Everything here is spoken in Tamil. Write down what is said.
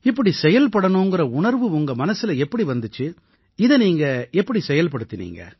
இப்படி செயல்படணுங்கற உணர்வு உங்க மனசுல எப்படி வந்திச்சு இதை நீங்க எப்படி செயல்படுத்தினீங்க